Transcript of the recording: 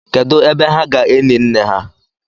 kedu ebe ha ga-eni nne ha?